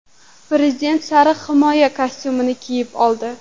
Prezident sariq himoya kostyumi kiyib oldi.